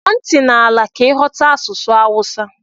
Tọọ ntị n'ala ka ighọta asụsụ Awusa.